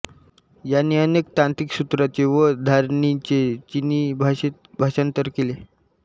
यांनी अनेक तांत्रिकसूत्रांचे व धारिणींचे चीनी भाषेत भाषांतर केले